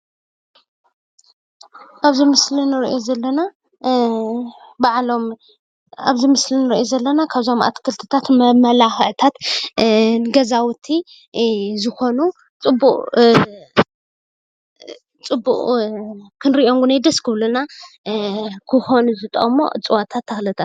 ኣብዚ ምስሊ ንርኦም ዘለና ባዕሎም ኣትክልታት መማላክዕቲ ንገዛውቲ ዝኮኑ ፅቡቅ ክንርኦም እውን ደስ ዝብለና ክኮኑ ዝክእሉ ዕፅዋታት ተክልታትን እዮም።